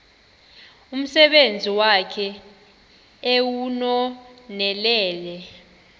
umsebenzi wakhe ewunonelele